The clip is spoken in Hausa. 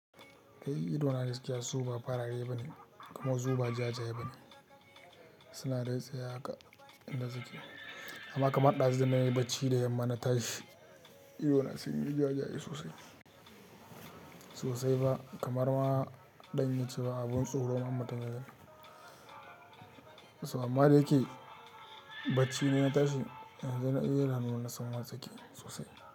Eh idona da gaskiya, zuba fara yayi bane kamar zuba ja-ja yayi bane. Suna da tsaya haka inda suke amma kamar ɗazu da na yi bacci da yamma na tashi, idona sun yi ja-ja sosai. Sosai ba kamar ma zan iya ce ba, abun tsoro ma matagan. Amma dayake bacci ne na tashi yanzu naji idanu na san wartsake sosai.